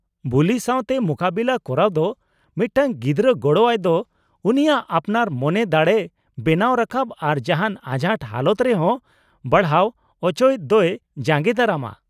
-ᱵᱩᱞᱤ ᱥᱟᱶᱛᱮ ᱢᱩᱠᱟᱹᱵᱮᱞᱟ ᱠᱚᱨᱟᱣ ᱫᱚ ᱢᱤᱫᱴᱟᱝ ᱜᱤᱫᱽᱨᱟᱹ ᱜᱚᱲᱚᱼᱟᱭ ᱫᱚ ᱩᱱᱤᱭᱟᱜ ᱟᱯᱱᱟᱨ ᱢᱚᱱᱮ ᱫᱟᱲᱮᱭ ᱵᱮᱱᱟᱣ ᱨᱟᱠᱟᱵᱟ ᱟᱨ ᱡᱟᱦᱟᱱ ᱟᱸᱡᱷᱟᱴ ᱦᱟᱞᱚᱛ ᱨᱮᱦᱚᱸ ᱵᱟᱲᱦᱟᱣ ᱚᱪᱚᱭ ᱫᱚᱭ ᱡᱟᱸᱜᱮ ᱫᱟᱨᱟᱢᱼᱟ ᱾